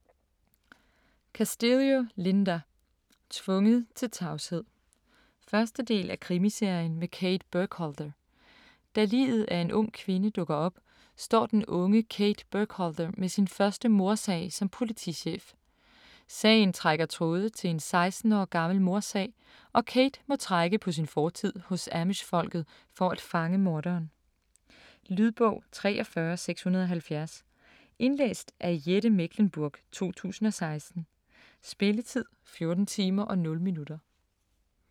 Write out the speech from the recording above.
Castillo, Linda: Tvunget til tavshed 1. del af Krimiserien med Kate Burkholder. Da liget af en ung kvinde dukker op, står den unge Kate Burkholder med sin første mordsag som politichef. Sagen trækker tråde til en 16 år gammel mordsag, og Kate må trække på sin fortid hos Amish-folket for at fange morderen. Lydbog 43670 Indlæst af Jette Mechlenburg, 2016. Spilletid: 14 timer, 0 minutter.